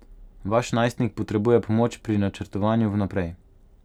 Vaš najstnik potrebuje pomoč pri načrtovanju vnaprej.